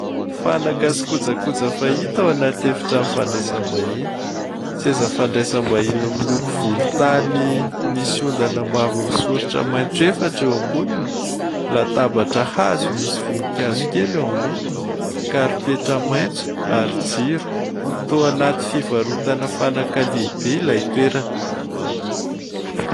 Fanaka sy kojakoja fahita ao anaty efitrano fandraisam-bahiny. Seza fandraisam-bahiny miloko volontany misy ondana mavo misoritra maitso efatra eo amboniny, latabatra hazo misy voninkazo kely eo amboniny, karipetra maitso ary jiro. Toa anaty fivarotana fanaka lehibe ilay toerana.